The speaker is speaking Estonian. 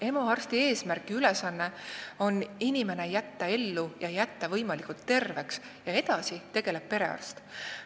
EMO arsti eesmärk ja ülesanne on jätta inimene ellu ja võimalikult terveks, aga edasi tegeleb temaga perearst.